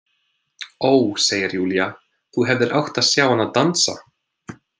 Ó, segir Júlía, þú hefðir átt að sjá hana dansa!